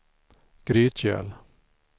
Grytgöl